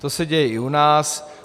To se děje i u nás.